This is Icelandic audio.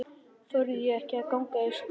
Þorði ekki að ganga í skrokk á mér.